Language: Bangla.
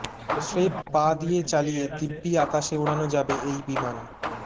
স্রেফ পা দিয়ে চালিয়ে দিব্যি আকাশে ওড়ানো যাবে এই বিমান